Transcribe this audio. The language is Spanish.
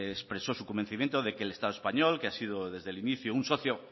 expresó su convencimiento de que el estado español que ha sido desde el inicio un socio